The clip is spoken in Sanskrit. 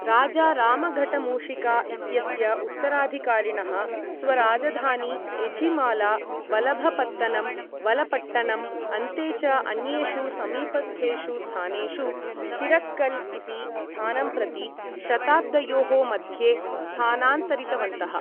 राजा रामघटमूशिका इत्यस्य उत्तराधिकारिणः स्वराजधानी एझिमाला, वलभपत्तनम् वलपट्टणम् , अन्ते च अन्येषु समीपस्थेषु स्थानेषु चिरक्कल् इति स्थानं प्रति शताब्दयोः मध्ये स्थानान्तरितवन्तः ।